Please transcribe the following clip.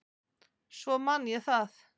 Svo man ég það.